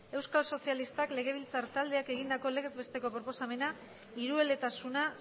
euskal sozialistak legebiltzar taldeak egindako legez besteko proposamena hirueletasuna